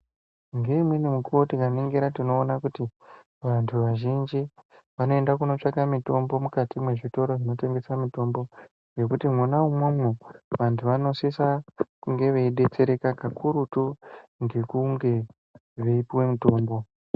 Ngeimweni mukuvo tikaningira tinoona kuti vantu vazhinji vanoenda kotsvaka mitombo mukati mwezvitoro zvinotengesa mitombo. Nekuti mwona imwomwo vantu vanosisa kunge veibetsereka kakurutu ngekunge veipuva mutombo.